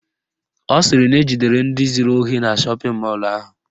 Ọ sịrị na ejidere ndị zuru ohi na shọpịn mọlụ ahụ